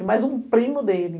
E mais um primo dele.